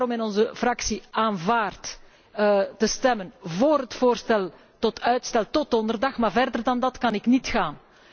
Wij hebben daarom in onze fractie aanvaard te stemmen vóór het voorstel tot uitstel tot donderdag, maar verder dan dat kan ik niet gaan.